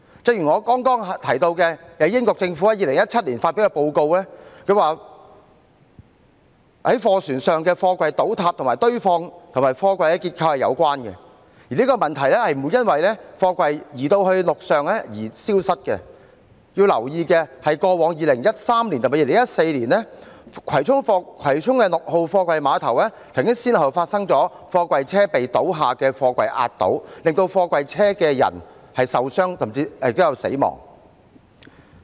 正如我剛才提到英國政府所發表的報告指，在貨船上的貨櫃倒塌與堆放及貨櫃結構有關，而這問題不會因為貨櫃移至陸上而消失，要留意的是，過往2013年及2014年，葵涌六號貨櫃碼頭曾先後發生貨櫃車被倒下的貨櫃壓倒，令到在貨櫃車內的人受傷甚至死亡。